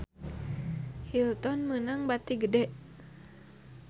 Hilton meunang bati gede